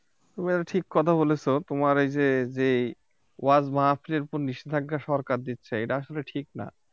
তুমি এটা ঠিক কথা বলেছ তোমার এই যে যে ওয়াজ মাহফিল এর উপর নিষেধাজ্ঞা সরকার দিচ্ছে এটা আসলে ঠিক না